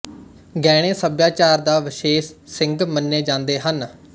ਗਹਿਣੇ ਸੱਭਿਆਚਾਰ ਦਾ ਵਿਸ਼ੇਸ਼ ਸਿੰਘ ਮੰਨੇ ਜਾਂਦੇ ਹਨ